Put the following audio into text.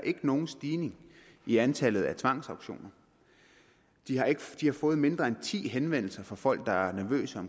nogen stigning i antallet af tvangsauktioner de har fået mindre end ti henvendelser fra folk der er nervøse